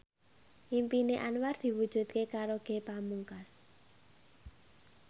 impine Anwar diwujudke karo Ge Pamungkas